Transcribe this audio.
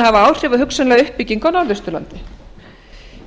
hafa áhrif á hugsanlega uppbyggingu á norðausturlandi